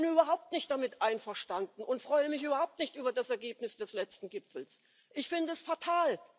Ich bin überhaupt nicht damit einverstanden und freue mich überhaupt nicht über das Ergebnis des letzten Gipfels ich finde es fatal.